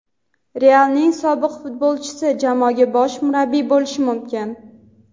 "Real"ning sobiq futbolchisi jamoaga bosh murabbiy bo‘lishi mumkin.